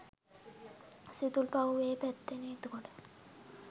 සිතුල්පව්ව ඒ පැත්තෙනේ. එතකොට